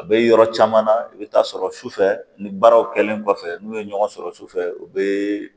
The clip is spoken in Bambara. A bɛ yɔrɔ caman na i bɛ taa sɔrɔ sufɛ ni baaraw kɛlen kɔfɛ n'u ye ɲɔgɔn sɔrɔ sufɛ u be